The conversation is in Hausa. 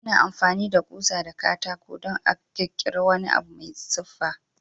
Ana amfani da ƙusa da katako dan a kirkire wani abu mai siffa.